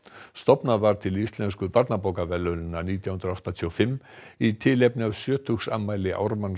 stofnað var til Íslensku nítján hundruð áttatíu og fimm í tilefni af sjötugsafmæli Ármanns